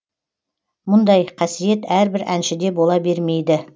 мұндай қасиет әрбір әншіде бола бермейді